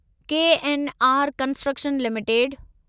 KNR constructions limited